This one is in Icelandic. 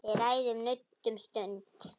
Við ræðum nudd um stund.